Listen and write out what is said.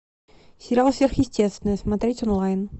сериал сверхъестественное смотреть онлайн